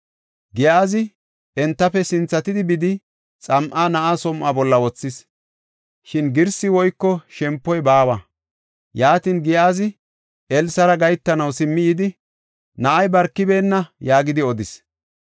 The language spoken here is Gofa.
Giyaazi entafe sinthatidi bidi, xam7a na7aa som7uwa bolla wothis. Shin girsi woyko shempoy baawa. Yaatin Giyaazi Elsara gahetanaw simmi yidi, “Na7ay barkibeenna” yaagidi odis.